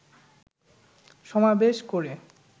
সমাবেশ করে